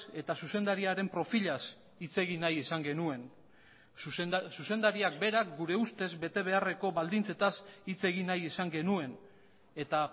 eta zuzendariaren profilaz hitz egin nahi izan genuen zuzendariak berak gure ustez bete beharreko baldintzetaz hitz egin nahi izan genuen eta